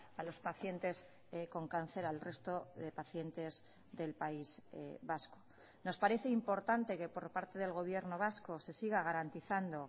a los pacientes con cáncer al resto de pacientes del país vasco nos parece importante que por parte del gobierno vasco se siga garantizando